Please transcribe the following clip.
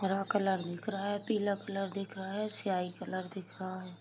हरा कलर दिख रहा है पीला कलर दिख रहा है सिहाई कलर दिख रहा है।